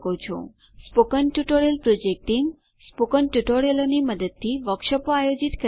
spoken tutorial પ્રોજેક્ટનું team spoken ટ્યુટોરીયલોની મદદથી વર્કશોપો આયોજિત કરે છે